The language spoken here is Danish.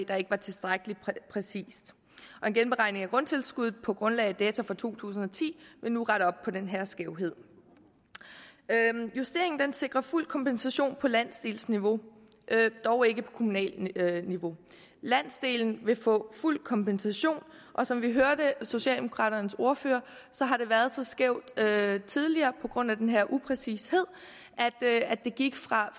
der ikke var tilstrækkelig præcist og en genberegning af grundtilskuddet på grundlag af data for to tusind og ti vil nu rette op på den her skævhed justeringen sikrer fuld kompensation på landsdelsniveau dog ikke på kommunalt niveau landsdelen vil få fuld kompensation og som vi hørte socialdemokraternes ordfører har det været så skævt tidligere på grund af den her upræcished at det gik fra